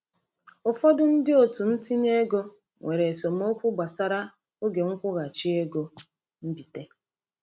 Ụfọdụ ndị otu ntinye ego nwere esemokwu gbasara oge nkwụghachi ego mbite.